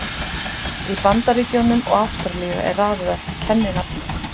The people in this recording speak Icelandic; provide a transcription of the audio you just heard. Í Bandaríkjunum og Ástralíu er raðað eftir kenninafni.